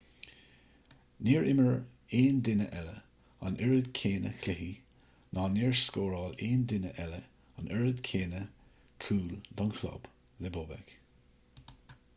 níor imir aon duine eile an oiread céanna cluichí ná níor scóráil aon duine eile an oiread céanna cúl don chlub le bobek